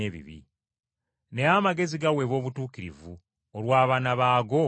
Naye amagezi geeragira mu butuukirivu olw’abaana baago bonna.”